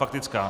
Faktická.